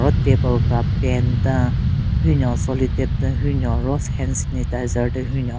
Table ka pen den hyu nyon cellotape den hyu nyon ro hand sanitizer den hyu nyon.